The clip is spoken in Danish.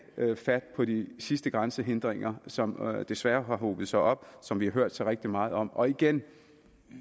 fat på de sidste grænsehindringer som desværre har hobet sig op som vi har hørt så rigtig meget om og igen